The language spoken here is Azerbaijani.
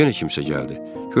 yenə kimsə gəldi.